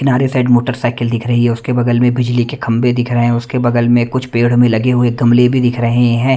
किनारे side motorcycle दिख रही है उसके बगल में बिजली के खंभे दिख रहे हैं उसके बगल में कुछ पेड़ में लगे हुए गमले भी दिख रहे है।